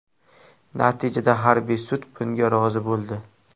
Natijada harbiy sud bunga rozi bo‘ldi.